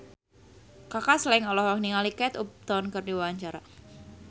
Kaka Slank olohok ningali Kate Upton keur diwawancara